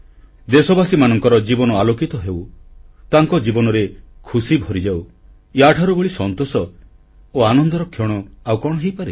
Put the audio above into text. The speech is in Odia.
ଦେଶବାସୀମାନଙ୍କର ଜୀବନ ଆଲୋକିତ ହେଉ ତାଙ୍କ ଜୀବନରେ ଖୁସିଭରିଯାଉ ୟାଠାରୁ ବଳି ସନ୍ତୋଷ ଓ ଆନନ୍ଦର କ୍ଷଣ ଆଉ କଣ ହୋଇପାରେ